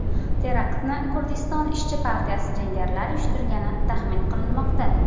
Teraktni Kurdiston ishchi partiyasi jangarilari uyushtirgani taxmin qilinmoqda.